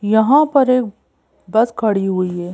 यहां पर एक बस खड़ी हुई है।